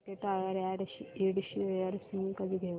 JK tyre and Ind shares मी कधी घेऊ